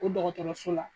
O dɔgɔtɔrɔso la